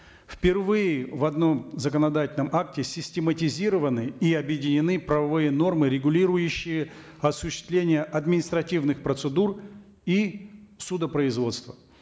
впервые в одном законодательном акте систематизированы и объединены правовые нормы регулирующие осуществление административных процедур и судопроизводство